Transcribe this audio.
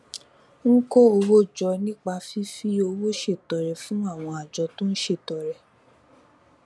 ń kó owó jọ nípa fífi owó ṣètọrẹ fún àwọn àjọ tó ń ṣètọrẹ